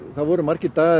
það voru margir dagar